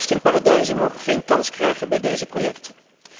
Belastingparadijzen mogen geen kans krijgen bij deze projecten.